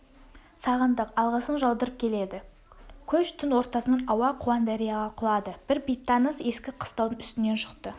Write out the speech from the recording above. сағындық алғысын жаудырып келеді көш түн ортасынан ауа қуаңдарияға құлады бір бейтаныс ескі қыстаудың үстінен шықты